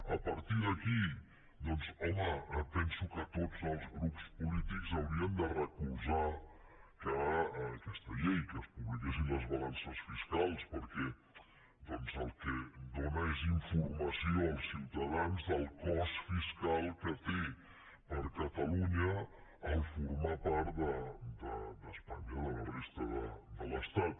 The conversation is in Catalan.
a partir d’aquí doncs home penso que tots els grups polítics haurien de recolzar aquesta llei que es publiquessin les balances fiscals perquè el que dóna és informació als ciutadans del cost fiscal que té per a catalunya formar part d’espanya de la resta de l’estat